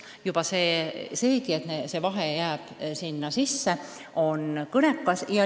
Juba see, et see vahe jääb sisse, on kõnekas.